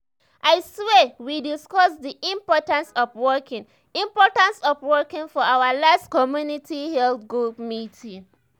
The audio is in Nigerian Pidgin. i swear we discuss the importance of walking importance of walking for our last community health group meeting.